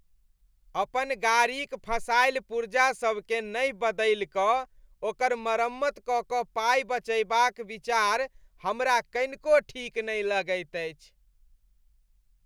अपन गाड़ीक घंसायल पुर्जा सबकेँ नहि बदलि कऽ ओकर मरम्मत कऽ कऽ पाइ बचयबाक विचार हमरा कनिको ठीक नहि लगैत अछि।